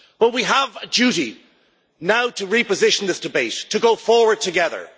We have a duty now to reposition this debate, to go forward together.